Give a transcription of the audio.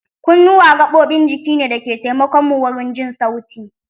Kunnuwa gaɓoɓin jiki ne da ke taimakon mu wurin jin sauti